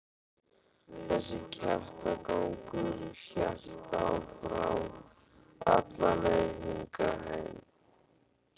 Þessi kjaftagangur hélt áfram alla leið hingað heim.